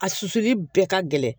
A susuli bɛɛ ka gɛlɛn